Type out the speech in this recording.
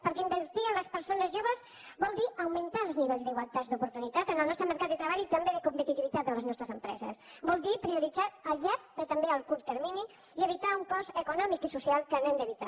perquè invertir en les persones joves vol dir augmentar els nivells d’igualtat d’oportunitats en el nostre mercat de treball i també de competitivitat de les nostres empreses vol dir prioritzar a llarg però també a curt termini i evitar un cost econòmic i social que hem d’evitar